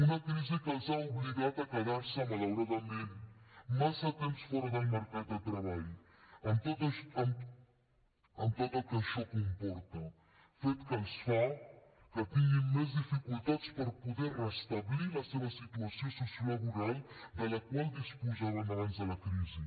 una crisi que els ha obligat a quedar se malauradament massa temps fora del mercat de treball amb tot el que això comporta fet que fa que tinguin més dificultats per poder restablir la seva situació sociolaboral de la qual disposaven abans de la crisi